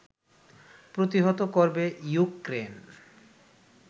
প্রতিহত করবে ইউক্রেন